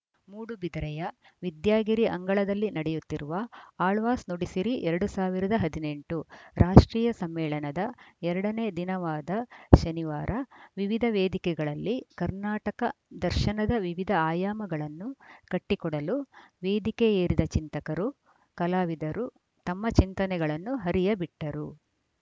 ಮೂಡುಬಿದಿರೆಯ ವಿದ್ಯಾಗಿರಿ ಅಂಗಳದಲ್ಲಿ ನಡೆಯುತ್ತಿರುವ ಆಳ್ವಾಸ್‌ ನುಡಿಸಿರಿ ಎರಡ್ ಸಾವಿರದ ಹದಿನೆಂಟು ರಾಷ್ಟ್ರೀಯ ಸಮ್ಮೇಳನದ ಎರಡನೇ ದಿನವಾದ ಶನಿವಾರ ವಿವಿಧ ವೇದಿಕೆಗಳಲ್ಲಿ ಕರ್ನಾಟಕ ದರ್ಶನದ ವಿವಿಧ ಆಯಾಮಗಳನ್ನು ಕಟ್ಟಿಕೊಡಲು ವೇದಿಕೆ ಏರಿದ ಚಿಂತಕರು ಕಲಾವಿದರು ತಮ್ಮ ಚಿಂತನೆಗಳನ್ನು ಹರಿಯಬಿಟ್ಟರು